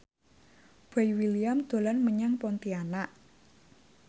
Boy William dolan menyang Pontianak